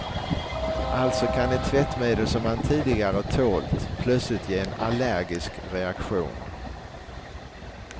Alltså kan ett tvättmedel som man tidigare tålt, plötsligt ge en allergisk reaktion.